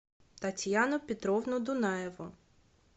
татьяну петровну дунаеву